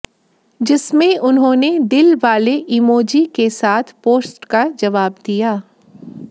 जिसमें उन्होंने दिल वाले इमोजी के साथ पोस्ट का जवाब दिया